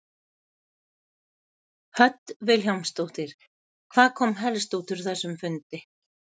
Hödd Vilhjálmsdóttir: Hvað kom helst út úr þessum fundi?